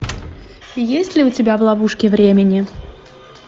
есть ли у тебя в ловушке времени